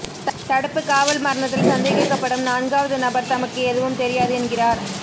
தடுப்புக் காவல் மரணத்தில் சந்தேகிக்கப்படும் நான்காவது நபர் தமக்கு எதுவும் தெரியாது என்கிறார்